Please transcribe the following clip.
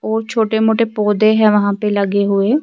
.اور چھوٹے موٹے پودھے ہیں وہا پی لگے ہوئے